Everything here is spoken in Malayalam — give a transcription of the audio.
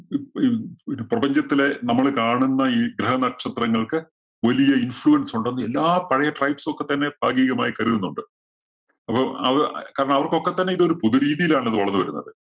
ഒരു പ്രപഞ്ചത്തിലെ നമ്മള് കാണുന്ന ഈ ഗ്രഹ നക്ഷത്രങ്ങള്‍ക്ക് വലിയ influence ഉണ്ടെന്ന് എല്ലാ പഴയ tribes ഒക്കെ തന്നെ ഭാഗീകമായി കരുതുന്നുണ്ട്. അപ്പോ അത് കാരണം അവര്‍ക്കൊക്കെ തന്നെ ഇത് ഒരു പുതുരീതിയിലാണല്ലോ ഇത് വളര്‍ന്നു വരുന്നത്.